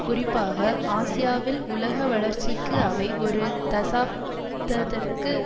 குறிப்பாக ஆசியாவில் உலக வளர்ச்சிக்கு அவை ஒரு தசாப்தத்திற்கு